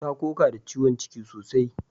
Ta koka da ciwon ciki sosai